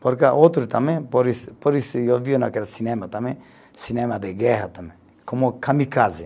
Porque outro também, por isso, por isso eu vi naquele cinema também, cinema de guerra também, como kamikaze.